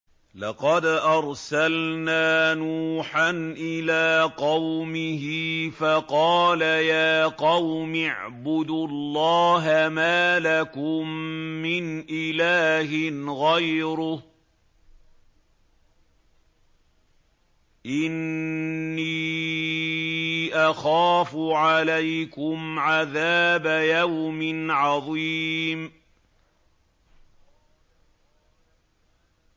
لَقَدْ أَرْسَلْنَا نُوحًا إِلَىٰ قَوْمِهِ فَقَالَ يَا قَوْمِ اعْبُدُوا اللَّهَ مَا لَكُم مِّنْ إِلَٰهٍ غَيْرُهُ إِنِّي أَخَافُ عَلَيْكُمْ عَذَابَ يَوْمٍ عَظِيمٍ